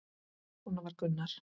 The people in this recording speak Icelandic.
Svona var Gunnar.